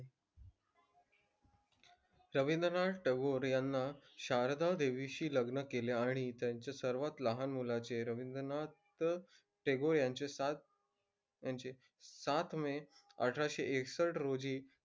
रवींद्रनाथ टागोर यांना शारदादेवीशी लग्न केले आणि त्यांच्या सर्वात लहान मुलाचे रवींद्रनाथ टागोर यांचे सात यांचे सात मे अठराशे एकसष्ट रोजी,